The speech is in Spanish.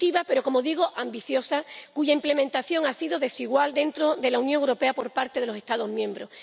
positiva, pero —como digo— ambiciosa, cuya implementación ha sido desigual dentro de la Unión Europea por parte de los Estados miembros.